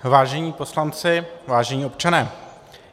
Vážení poslanci, vážení občané.